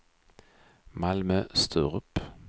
Malmö-Sturup